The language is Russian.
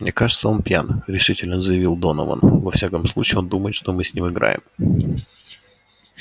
мне кажется он пьян решительно заявил донован во всяком случае он думает что мы с ним играем